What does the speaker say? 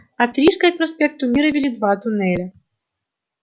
от рижской к проспекту мира вели два туннеля